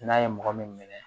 N'a ye mɔgɔ min minɛ